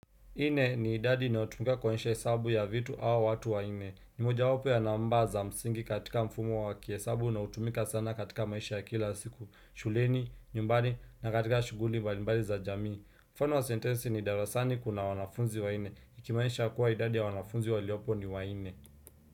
Nne ni idadi inayotumika kwa hesabu ya vitu au watu wane. Ni moja wapo ya namba za msingi katika mfumo wa kihesabu unaotumika sana katika maisha ya kila siku, shuleni, nyumbani, na katika shuguli mbalimbali za jamii. Mfano wa sentensi ni darasani kuna wanafunzi wane, ikimaanisha kuwa idadi ya wanafunzi waliopo ni wanne.